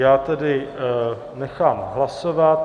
Já tedy nechám hlasovat.